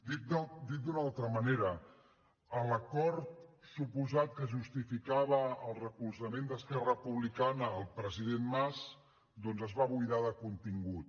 dit d’una altra manera l’acord suposat que justificava el recolzament d’esquerra republicana al president mas doncs es va buidar de contingut